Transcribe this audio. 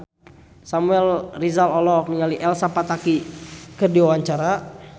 Samuel Rizal olohok ningali Elsa Pataky keur diwawancara